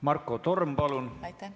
Marko Torm, palun!